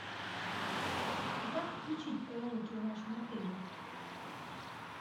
а как включить караоке в вашем отеле